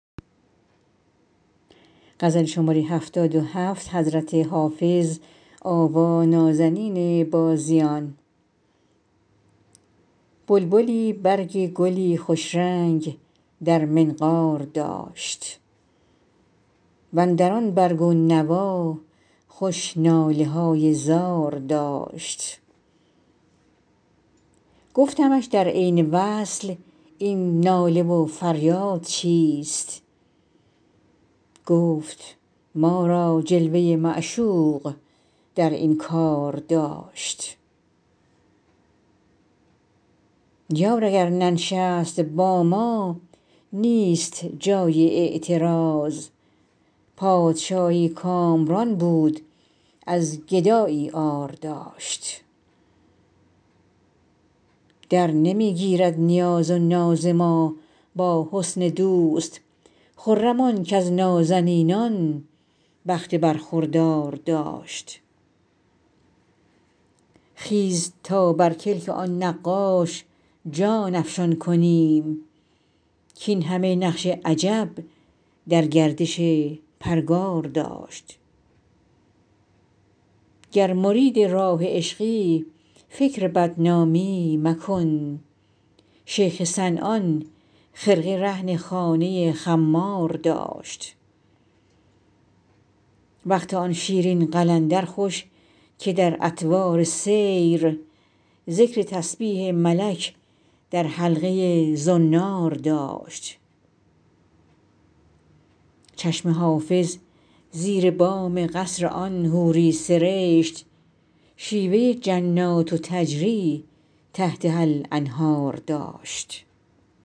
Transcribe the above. بلبلی برگ گلی خوش رنگ در منقار داشت و اندر آن برگ و نوا خوش ناله های زار داشت گفتمش در عین وصل این ناله و فریاد چیست گفت ما را جلوه ی معشوق در این کار داشت یار اگر ننشست با ما نیست جای اعتراض پادشاهی کامران بود از گدایی عار داشت درنمی گیرد نیاز و ناز ما با حسن دوست خرم آن کز نازنینان بخت برخوردار داشت خیز تا بر کلک آن نقاش جان افشان کنیم کاین همه نقش عجب در گردش پرگار داشت گر مرید راه عشقی فکر بدنامی مکن شیخ صنعان خرقه رهن خانه خمار داشت وقت آن شیرین قلندر خوش که در اطوار سیر ذکر تسبیح ملک در حلقه ی زنار داشت چشم حافظ زیر بام قصر آن حوری سرشت شیوه ی جنات تجری تحتها الانهار داشت